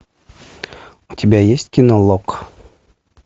у тебя есть кино лог